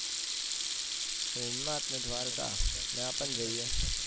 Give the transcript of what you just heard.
સોમનાથ ને દ્વારકા ન્યા પણ જૈયે.